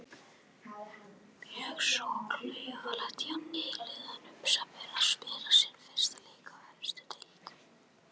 Mjög svo klaufalegt hjá nýliðanum sem er að spila sinn fyrsta leik í efstu deild.